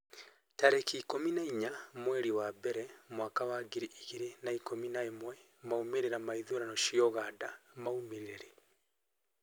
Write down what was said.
tarĩki ikũmi na inya mweri wa mbere mwaka wa ngiri igĩrĩ na ikũmi na ĩmwemaumĩrĩra ma ithurano cia Uganda maumire rĩ?